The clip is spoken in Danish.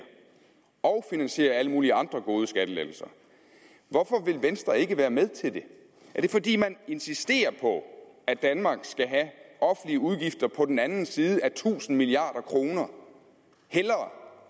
og finansiere alle mulige andre gode skattelettelser hvorfor vil venstre ikke være med til det er det fordi man insisterer på at danmark hellere skal have offentlige udgifter på den anden side af tusind milliarder kroner